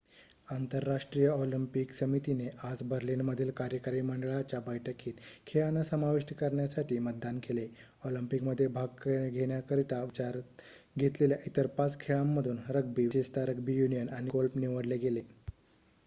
आंतरराष्ट्रीय ऑलिम्पिक समितीने आज बर्लिनमधील कार्यकारी मंडळाच्या बैठकीत खेळांना समाविष्ट करण्यासाठी मतदान केले ऑलिम्पिकमध्ये भाग घेण्याकरिता विचारत घेतलेल्या इतर 5 खेळांमधून रग्बी विशेषतः रग्बी युनियन आणि गोल्फ निवडले गेले